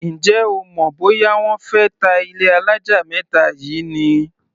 Ǹjẹ́ o mọ̀ bóyá wọ́n fé ta ilé alájà mẹ́ta yìí ni?